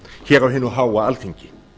hér á hinu háa alþingi